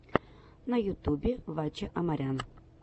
на ютубе ваче амарян